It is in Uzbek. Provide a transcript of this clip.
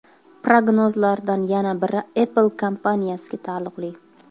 Prognozlardan yana biri Apple kompaniyasiga taalluqli.